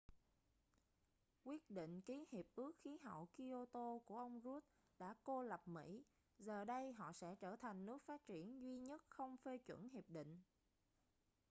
quyết định ký hiệp ước khí hậu kyoto của ông rudd đã cô lập mỹ giờ đây họ sẽ trở thành nước phát triển duy nhất không phê chuẩn hiệp định